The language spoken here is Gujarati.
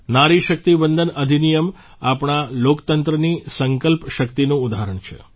નારી શક્તિ વંદન અધિનિયમ આપણા લોકતંત્રની સંકલ્પ શક્તિનું ઉદાહરણ છે